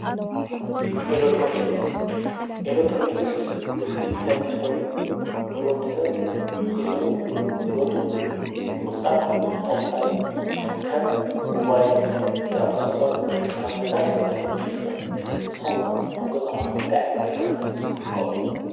ኤሌትሮንክስ፡- ኤሌትሮንክስ ውፂኢት ሳይንስ ኾይኑ ንወዲ ሰብ ግዚኡ፣ ጉልበቱ ምቑጣብ ዝጠቕሙና እዮም፡፡ ከም ሞባይል ዝኣሞሳሰሉ ኣብነታት ኤሌትሮንክስ እዮም፡፡ ንስኸም ከ ኣብ ገዛኾም እንታይ ዓይነት ኤሌትሮኒክስ ትጥቀሙ?